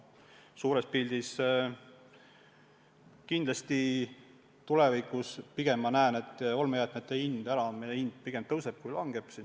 Suures pildis ma pigem ma näen, et olmejäätmete äraandmise hind tulevikus pigem tõuseb kui langeb.